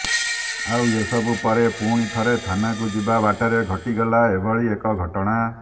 ଆଉ ଏସବୁ ପରେ ପୁଣି ଥରେ ଥାନାକୁ ଯିବା ବାଟରେ ଘଟିଗଲା ଏଭଳି ଏକ ଘଟଣା